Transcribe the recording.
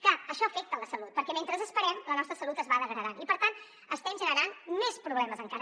clar això afecta la salut perquè mentre esperem la nostra salut es va degradant i per tant estem generant més problemes encara